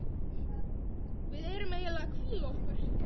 Við erum eiginlega að hvíla okkur.